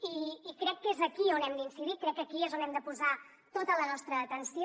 i crec que és aquí on hem d’incidir crec que aquí és on hem de posar tota la nostra atenció